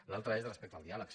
l’altre és respecte al diàleg